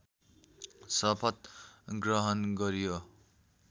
शपथ ग्रहण गरियो